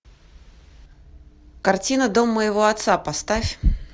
картина дом моего отца поставь